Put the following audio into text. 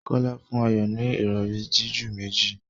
Kola fún Ayo ní Ìrọ̀rí jiju méjì